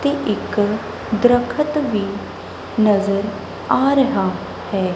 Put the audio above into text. ਹੋਰ ਇਕ ਦਰਖਤ ਵੀ ਨਜ਼ਰ ਆ ਰਿਹਾ ਹੈ।